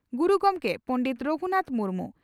Guru Gomke Pandit Raghunath Murmu